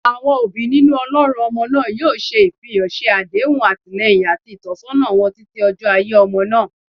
Awọn obi ninu olorun ọmọ naa yoo se- ifihan, ṣe adehun atilẹyin ati itọsọna wọn titi ojo aiye omo na